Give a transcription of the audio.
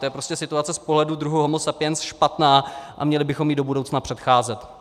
To je prostě situace z pohledu druhu homo sapiens špatná a měli bychom jí do budoucna předcházet.